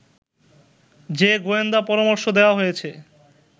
যে গোয়েন্দা পরামর্শ দেয়া হয়েছে